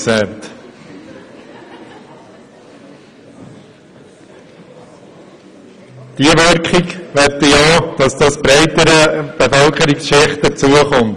Ich möchte, dass diese Wirkung auch breiteren Bevölkerungsschichten zukommt.